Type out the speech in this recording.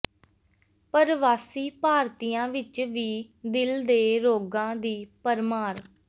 ਪਰਵਾਸੀ ਭਾਰਤੀਆਂ ਵਿਚ ਵੀ ਦਿਲ ਦੇ ਰੋਗਾਂ ਦੀ ਭਰਮਾਰ